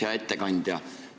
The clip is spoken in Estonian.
Hea ettekandja!